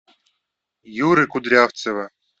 юры кудрявцева